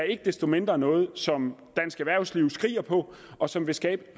ikke desto mindre noget som dansk erhvervsliv skriger på og som vil skabe